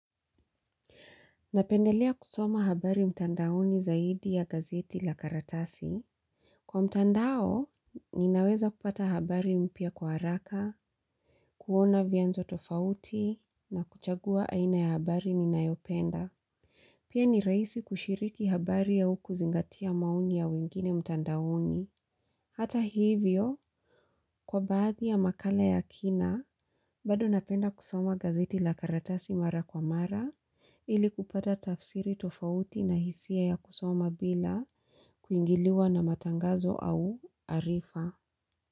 Napendelea kusoma habari mtandaoni zaidi ya gazeti la karatasi. Kwa mtandao, ninaweza kupata habari mpya kwa haraka, kuona vyanzo tofauti, na kuchagua aina ya habari ninayopenda. Pia ni rahisi kushiriki habari au kuzingatia maoni ya wengine mtandaoni. Hata hivyo, kwa baadhi ya makala ya kina, bado napenda kusoma gazeti la karatasi mara kwa mara, ili kupata tafsiri tofauti na hisia ya kusoma bila kuingiliwa na matangazo au arifa.